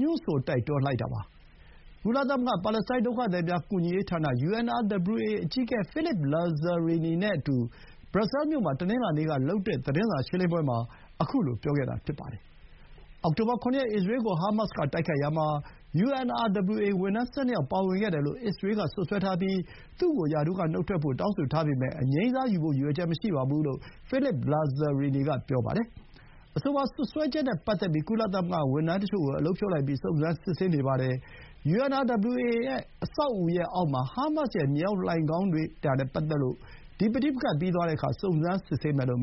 ညွှန်းဆိုတိုက်တွန်းလိုက်တာပါ။ ကုလသမဂ္ဂ ပါလက်စတိုင်းဒုက္ခသည်များ ကူညီရေးဌာန UNRWA အကြီးအကဲ ဖိလစ်ပ် လာဇာရီနီ (Philippe Lazzarini) နဲ့အတူ ဘရပ်ဆဲမြို့မှာ တနင်္လာနေ့က သတင်းစာရှင်းလင်းပွဲအတွင်း ခုလို ပြောခဲ့တာဖြစ်ပါတယ်။ အောက်ဆိုဘာ ၇ ရက် အစ္စရေးကို ဟာမတ်စ်က တိုက်ခိုက်ရာမှာ UNRWA ဝန်ထမ်း ၁၂ ယောက်ပါဝင်ခဲ့တယ်လို့ အစ္စရေးက စွပ်စွဲထားပြီး သူ့ကို ရာထူးကနုတ်ထွက်ဖို့ တောင်းဆိုထားပေမဲ့ အငြိမ်းစားယူဖို့ ရည်ရွယ်ချက်မရှိဘူးလို့ ဖိလစ်ပ် လာဇာရီနီ က ပြောပါတယ်။ အဆိုပါစွပ်စွဲချက်နဲ့ပတ်သက်လို့ ကုလသမဂ္ဂဝန်ထမ်းတချို့ကို အလုပ်ဖြုတ်လိုက်ပြီး စုံစမ်းစစ်ဆေးနေပါတယ်။ UNRWA အဆောက်အဦရဲ့အောက်မှာ ဟာမတ်စ်ရဲ့ မြေအောက်လှိုဏ်ခေါင်းတွေ့တာနဲ့ပတ်သက်လို့ ဒီ ပဋိပက္ခပြီးသွားတဲ့အခါ စုံစမ်းစစ်ဆေးမယ်လို့